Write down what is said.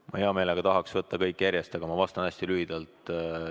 Ma hea meelega tahaks võtta kõik küsimused järjest, aga ma siiski vastan hästi lühidalt.